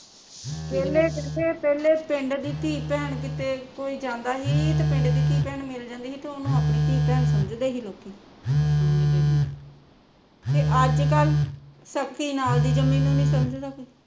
ਪਹਿਲੇ ਕਿਸੇ ਪਹਿਲੇ ਪਿੰਡ ਦੀ ਧੀ ਭੈਣ ਕਿਤੇ ਕੋਈ ਜਾਂਦਾ ਸੀ ਤਾਂ ਪਿੰਡ ਦੀ ਧੀ ਭੈਣ ਮਿਲ ਜਾਂਦੀ ਸੀ ਤਾਂ ਉਹਨੂ ਆਪਣੀ ਧੀ ਭੈਣ ਸਮਜਦੇ ਸੀ ਲੋਕੀਂ ਤੇ ਅੱਜ ਕੱਲ੍ ਸਕੀ ਨਾਲ਼ ਦੀ ਜਂਮੀ ਨੂੰ ਨੀ ਸਮਜਦਾ ਕੋਈ